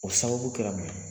O sababu kɛra mun ye